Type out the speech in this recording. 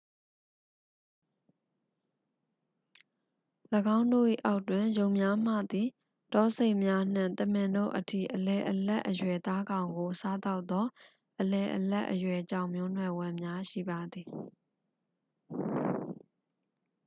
၎င်းတို့၏အောက်တွင် ယုန်များမှသည် တောဆိတ်များနှင့် သမင်တို့အထိ အလယ်အလတ်အရွယ်သားကောင်ကို စားသောက်သော အလယ်အလတ်အရွယ်ကြောင်မျိုးနွယ်ဝင်များရှိပါသည်